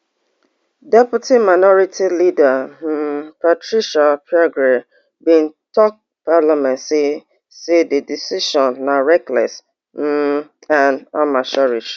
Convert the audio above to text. deputy minority leader um patricia apiagyei bin tok parliament say say di decision na reckless um and amateurish